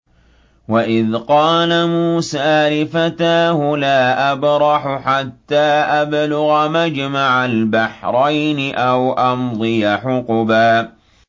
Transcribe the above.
وَإِذْ قَالَ مُوسَىٰ لِفَتَاهُ لَا أَبْرَحُ حَتَّىٰ أَبْلُغَ مَجْمَعَ الْبَحْرَيْنِ أَوْ أَمْضِيَ حُقُبًا